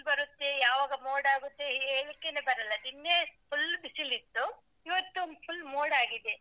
ಬರುತ್ತೆ, ಯಾವಾಗ ಮೋಡ ಆಗುತ್ತೆ ಹೇಳಿಕ್ಕೆನೆ ಬರಲ್ಲ ನಿನ್ನೆ full ಬಿಸಿಲಿತ್ತು ಇವತ್ತು full ಮೋಡ ಆಗಿದೆ.